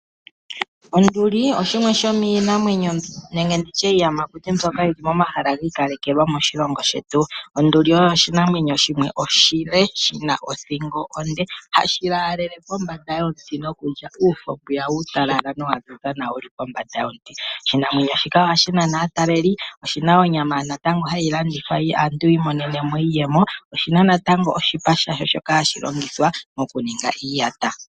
Onduli oshimwe shomiinamwenyo nenge ndi tye iiyamakuti mbyoka yi li momahala gi ikalekelwa moshilongo shetu. Onduli oyo oshinamwenyo shimwe oshile, shi na othingo onde, hashi laalele pombanda yomuti nokulya uufo mbwiya uutalala nowa ziza nawa wu li pombanda yomuti. Oshinamwenyo shika ohashi nana aataleli. Oshi na onyama natango hayi landithwa tu imonene mo iiyemo Oshi na natango oshipa shadho shoka hashi longithwa mokuninga iiyata.